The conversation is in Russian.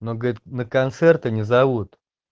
но говорит на концерты не зовут